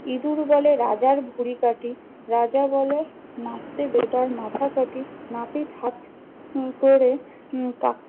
ইদুর বলে রাজার ভুঁড়ি কাঁটি, রাজা বলে নাপতি বেটার মাথা কাঁটি। নাপিত হাত উম করে উম কাট